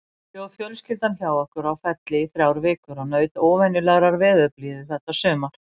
Bjó fjölskyldan hjá okkur á Felli í þrjár vikur og naut óvenjulegrar veðurblíðu þetta sumar.